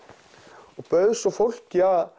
og bauð svo fólki